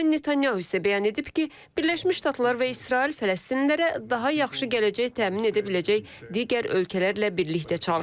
Benjamin Netanyahu isə bəyan edib ki, Birləşmiş Ştatlar və İsrail fələstinlilərə daha yaxşı gələcək təmin edə biləcək digər ölkələrlə birlikdə çalışır.